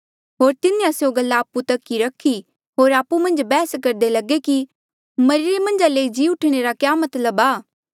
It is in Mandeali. होर तिन्हें स्यों गल्ला आपु तक ई रखी होर आपु मन्झ बैहस करदे लगे कि मरिरे मन्झा ले जी ऊठणे रा क्या मतलब आ